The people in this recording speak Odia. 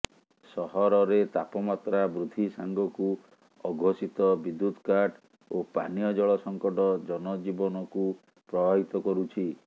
ସହରରେ ତାପମାତ୍ରା ବୃଦ୍ଧି ସାଙ୍ଗକୁ ଅଘୋଷିତ ବିଦ୍ୟୁତ୍ କାଟ୍ ଓ ପାନୀୟ ଜଳ ସଙ୍କଟ ଜନଜୀବନକୁ ପ୍ରଭାବିତ କରୁଛି